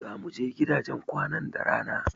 Zamu je gidajen kwanan da rana.